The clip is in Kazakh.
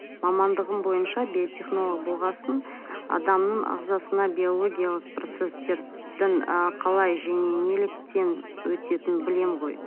мамандығым бойынша биотехнолог болған соң адамның ағзасына биологиялық процесстердің ы қалай және неліктен өтетінін білемін ғой